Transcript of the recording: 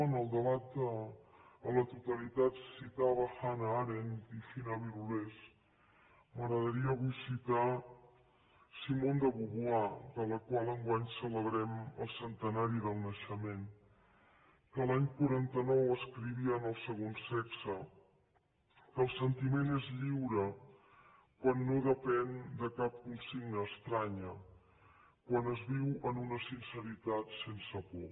en el debat a la to talitat citava hanna arendt i fina birulés m’agradaria avui citar simone de beauvoir de la qual enguany celebrem el centenari del naixement que l’any quaranta nou escrivia en el segon sexe que el sentiment és lliure quan no depèn de cap consigna estranya quan es viu en una sinceritat sense por